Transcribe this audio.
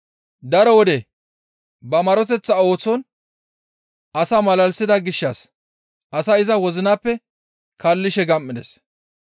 Daro wode ba maroteththa ooson asaa malalisida gishshas asay iza wozinappe kaallishe gam7ides.